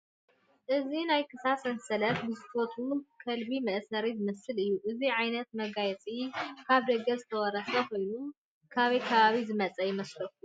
እዚ ናይ ክሳድ ሰንሰለት ግዝፈቱ ከልቢ መእሰሪ ዝመስል እዩ፡፡ እዚ ዓይነት መጋየፂ ካብ ደገ ዝተወረሰ ኮይኑ ካበይ ከባቢ ዝመፀ ይመስለኩም?